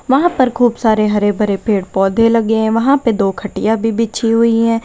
वहां पर खूब सारे हरे भरे पेड़ पौधे लगे हैं। वहां पे दो खटिया भी बिछी हुई है।